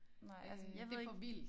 Nej altså jeg ved ikke